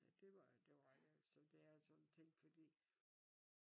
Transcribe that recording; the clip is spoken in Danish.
Ja det var det var ikke sådan det jeg sådan tænkte fordi